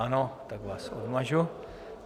Ano, tak vás odmažu.